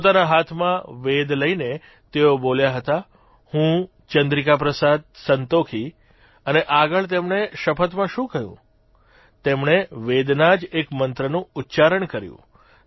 પોતાના હાથમાં વેદ લઇને તેઓ બોલ્યા હતા હું ચંદ્રિકા પ્રસાદ સંતોખી અને આગળ તેમણે શપથમાં શું કહ્યું તેમણે વેદના જ એક મંત્રનું ઉચ્ચારણ કર્યું